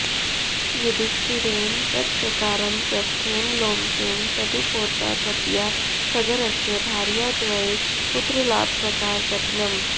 युधिष्ठिरेण तत्प्रकारं पृष्टेन लोमशेन तदुपोद्धाततया सगरस्य भार्याद्वये पुत्रलाभप्रकाऱकथनम्